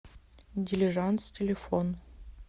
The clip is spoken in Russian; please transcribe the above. дилижанс телефон